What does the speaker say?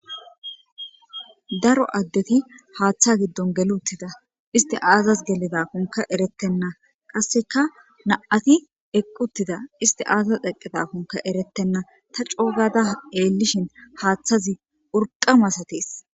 Daro addeti haaththa giddon geli uttida. Isti aazasI gelidakone eretenna ,qassikka na'ati eqqi uttida isti aazas eqedakone eretenna. Ta co gada tseellishin haaththazi urqa maasates.